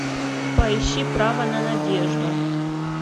поищи право на надежду